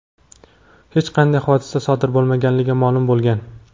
hech qanday hodisa sodir bo‘lmaganligi ma’lum bo‘lgan.